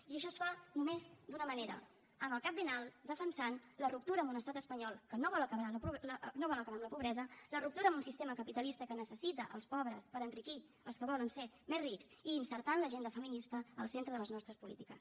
i això es fa només d’una manera amb el cap ben alt defensant la ruptura amb un estat espanyol que no vol acabar amb la pobresa la ruptura amb un sistema capitalista que necessita els pobres per enriquir els que volen ser més rics i inserint l’agenda feminista en el centre de les nostres polítiques